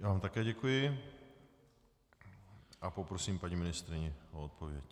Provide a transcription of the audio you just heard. Já vám také děkuji a poprosím paní ministryni o odpověď.